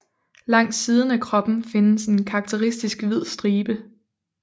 Langs siden af kroppen findes en karakteristisk hvid stribe